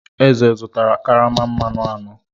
Eze zụtara karama mmanụ anọ.